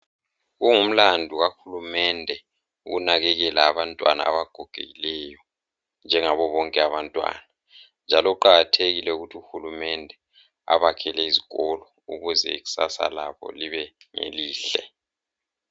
Kungumlando kaHulumende ukunakekela abantwana abagogokileyo njengabo bonke abantwana njalo kuqakathekile ukuthi uHulumende abakhele izikolo ukuze ikusasa labo libe ngelihle.